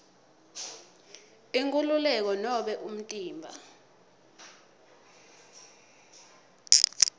inkhululeko nobe umtimba